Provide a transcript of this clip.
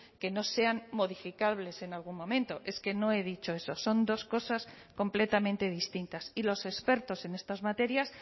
que no sean modificables en algún momento es que no he dicho eso son dos cosas completamente distintas y los expertos en estas materias